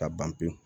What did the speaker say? Ka ban pewu